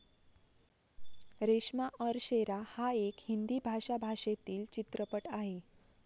रेश्मा और शेरा हा एक हिंदी भाषा भाषेतील चित्रपट आहे.